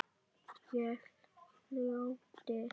Ég hlýddi.